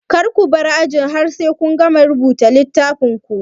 Kar kubar aji har sai kun gama rubuta a littafin ku